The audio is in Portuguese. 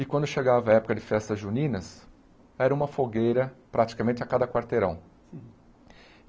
E quando chegava a época de festas juninas, era uma fogueira praticamente a cada quarteirão.